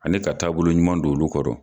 Ale ka taaboloɲuman don olu kɔrɔ.